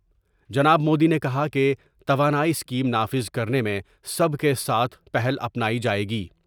جناب مودی نے کہا کہ توانائی اسکیم نافذ کر نے میں سب کے ساتھ پہل اپنائی جائے گی ۔